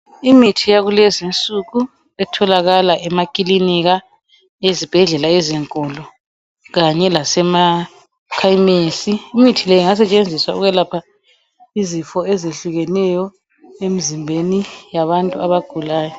Imithi yakulezi nsuku etholakala emakilinika, ezibhedlela ezinkulu kanye lasemakhemisi. Imithi le ingasetshenziswa ukwelapha izifo ezehlukeneyo emzimbeni yabantu abagulayo.